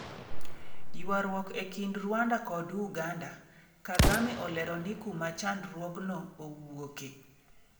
Ywaruok e kind Rwanda kod Uganda: Kagame olero ni kuma chandruogno owuoke